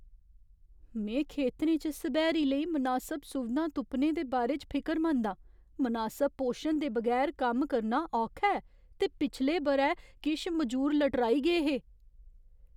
में खेतरें च सब्हैरी लेई मनासब सुविधां तुप्पने दे बारे च फिकरमंद आं। मनासब पोशन दे बगैर कम्म करना औखा ऐ, ते पिछले ब'रै किश मजूर लटराई गे हे।